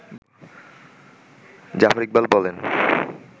জাফর ইকবাল বলেন